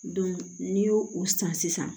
n'i y'o o san sisan